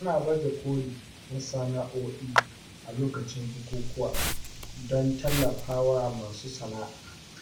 Ana baje koli na sana’o’i a lokacin bukukuwa don tallafa wa masu sana’a.